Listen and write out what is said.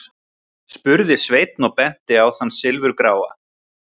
spurði Sveinn og benti á þann silfurgráa.